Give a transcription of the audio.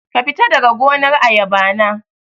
Kafita daga gonar ayaba na